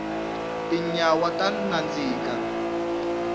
tinyawa ta nandzika